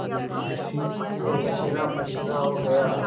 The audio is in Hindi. मैं पसीनापसीना हो गया